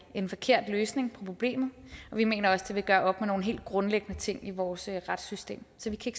en forkert løsning på problemet og vi mener også det vil gøre op med nogle helt grundlæggende ting i vores retssystem så vi kan